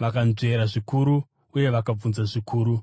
vakanzvera zvikuru uye vakabvunza zvikuru,